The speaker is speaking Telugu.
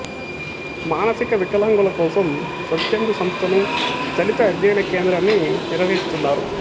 మానసిక వికలాంగుల కోసం స్వచ్ఛంద సంస్థనుదళిత అధ్యయన కేంద్రాన్ని నిర్వహిస్తున్నారు